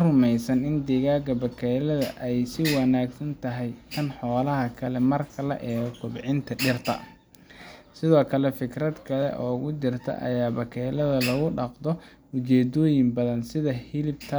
rumeysan in digada bakeylaha ay ka wanaagsan tahay tan xoolaha kale marka la eego kobcinta dhirta. Sidoo kale, fikrad kale oo jirta waa in bakeylaha lagu dhaqdo ujeeddooyin badan sida: hilib, taran,